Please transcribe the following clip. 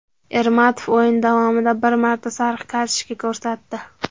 Ermatov o‘yin davomida bir marta sariq kartochka ko‘rsatdi.